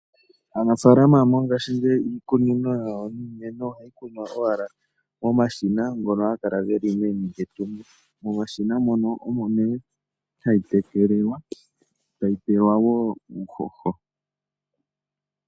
Aanafaalama mongaashingeyi iikunino yawo yiimeno ohayi kunwa owala momashina, ngono haga kala geli meni lyetungo. Momashina mono omo nee hayi tekelelwa, yo tayi pelwa mo woo uuhoho.